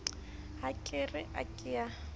ha ke re ke ka